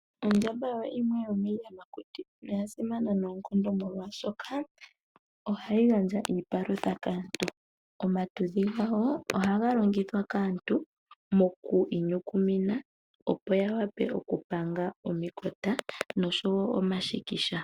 Ondjamba oyo yimwe yomiiyamakuti noya simana noonkondo molwaashoka ohayi gandja iipalutha kaantu. Omatudhi gawo ohaga longithwa kaantu moku inyukumina opo ya wape okupanga omikota osho wo omashikisha.